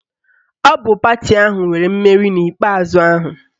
Ọ bụ pati ahụ nwere mmeri n'ikpe ikpeazụ ahụ